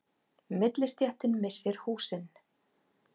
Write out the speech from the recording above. Millistéttin missir húsin